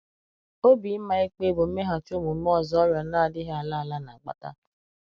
Obi ịma ịkpe bụ mmeghachi omume ọzọ ọrịa na - adịghị ala ala na - akpata.